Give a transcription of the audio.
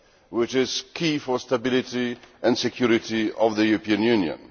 That is key for the stability and security of the European Union.